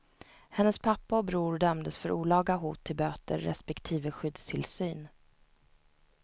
Hennes pappa och bror dömdes för olaga hot till böter respektive skyddstillsyn.